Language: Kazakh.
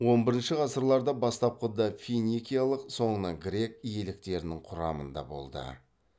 он бірінші ғасырларда бастапқыда финикиялық соңынан грек иеліктерінің құрамында болды